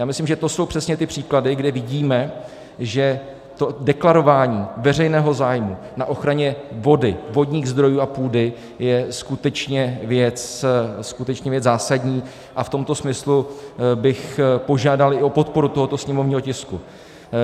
Já myslím, že to jsou přesně ty příklady, kde vidíme, že to deklarování veřejného zájmu na ochraně vody, vodních zdrojů a půdy je skutečně věc zásadní, a v tomto smyslu bych požádal i o podporu tohoto sněmovního tisku.